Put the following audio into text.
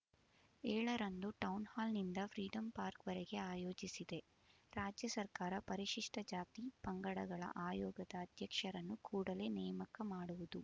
ಏಳರಂದು ಟೌನ್‌ಹಾಲ್‌ನಿಂದ freedom park ವರೆಗೆ ಆಯೋಜಿಸಿದೆ ರಾಜ್ಯ ಸರ್ಕಾರ ಪರಿಶಿಷ್ಟ ಜಾತಿ ಪಂಗಡಗಳ ಆಯೋಗದ ಅಧ್ಯಕ್ಷರನ್ನು ಕೂಡಲೇ ನೇಮಕ ಮಾಡುವುದು